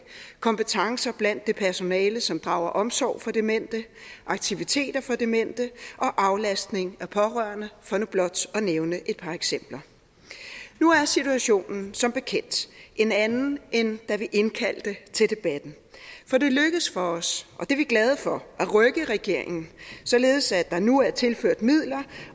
kompetencer blandt det personale som drager omsorg for demente aktiviteter for demente og aflastning af pårørende for nu blot at nævne et par eksempler nu er situationen som bekendt en anden end da vi indkaldte til debatten for det lykkedes for os og det er vi glade for at rykke regeringen således at der nu er tilført midler